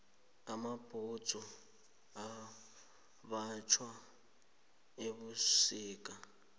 amabhudzu ambathwa ebusika